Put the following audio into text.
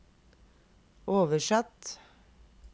oversatt